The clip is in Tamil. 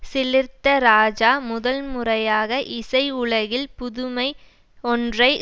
சிலிர்த்த ராஜா முதல்முறையாக இசை உலகில் புதுமை ஒன்றை